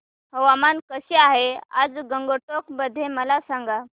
हवामान कसे आहे आज गंगटोक मध्ये मला सांगा